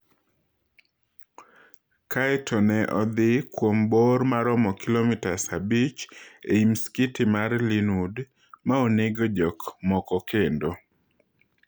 Kae to ne odhii kuom bor maromo kilomitas abich ei msikiti mar Linwood ma onego jok moko kendo.